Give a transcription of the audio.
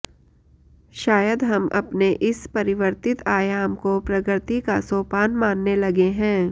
शायद हम अपने इस परिवर्तित आयाम को प्रगति का सोपान मानने लगे हैं